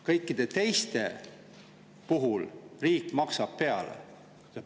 Kõikide teiste puhul riik maksab peale.